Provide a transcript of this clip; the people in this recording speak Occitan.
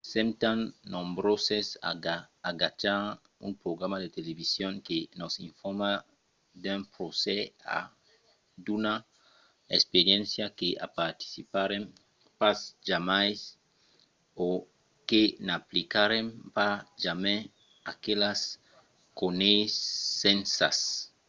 sèm tan nombroses a agachar un programa de television que nos informa d'un procès o d'una experiéncia que i participarem pas jamai o que n'aplicarem pas jamai aquelas coneissenças